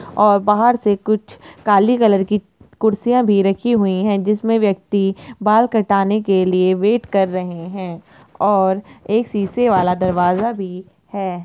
और बाहर से कुछ काले कलर की कुर्सियां भी रखी हुई है जिसमे व्यक्ति बाल कटाने के लिए वेट कर रहे है और एक शीशे वाला दरवाजा भी है।